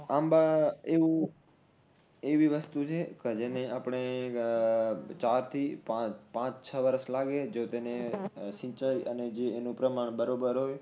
આંબા એવું એવી વસ્તુ છે કે જેને આપણે આહ ચાર થી ચાર પાચ છ વરસ લાગે જો તેને સિંચાઇ અને જી એનું પ્રમાણ બરોબર હોય